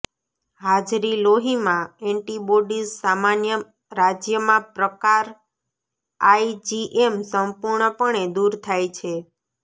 હાજરી લોહીમાં એન્ટિબોડીઝ સામાન્ય રાજ્યમાં પ્રકાર આઇજીએમ સંપૂર્ણપણે દૂર થાય છે